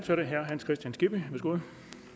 ud